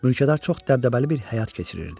Mülkədar çox dəbdəbəli bir həyat keçirirdi.